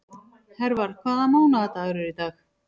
Hervar, hvaða mánaðardagur er í dag?